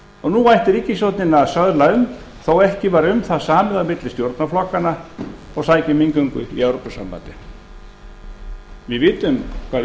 og nú ætti ríkisstjórnin að söðla um þó ekki væri um það samið á milli stjórnarflokkanna og sækja um inngöngu í evrópusambandið við vitum hvað